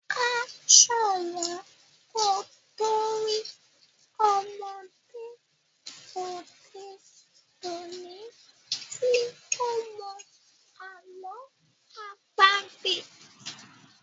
a so wón kò to rí ọmọde òde òni tí o mọ àlọ́ àpagbè.